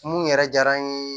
Mun yɛrɛ diyara n ye